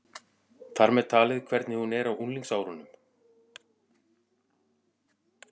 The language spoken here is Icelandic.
Þar með talið hvernig hún er á unglingsárunum.